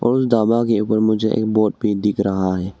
उस के ऊपर मुझे एक वोट भी दिख रहा --